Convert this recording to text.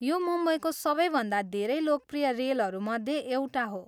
यो मुम्बईको सबैभन्दा धेरै लोकप्रिय रेलहरूमध्ये एउटा हो।